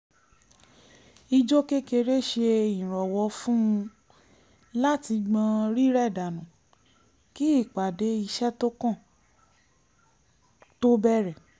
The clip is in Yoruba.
ijó kékeré ṣe ìrànwọ́ fún un láti gbọ́n rírẹ̀ dànù kí ìpàdé iṣẹ́ tó kàn tó bẹ̀rẹ̀